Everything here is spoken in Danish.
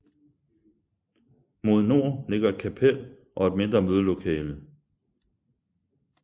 Mod nord ligger et kapel og et mindre mødelokale